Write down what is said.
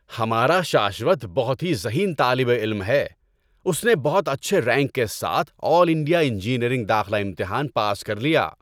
ہمارا شاشوت بہت ہی ذہین طالب علم ہے! اس نے بہت اچھے رینک کے ساتھ آل انڈیا انجینئرنگ داخلہ امتحان پاس کر لیا۔